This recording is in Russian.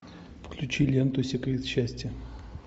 включи ленту секрет счастья